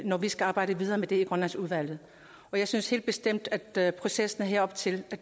når vi skal arbejde videre med det i grønlandsudvalget jeg synes helt bestemt at processen her op til i